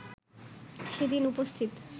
সেদিন উপস্থিত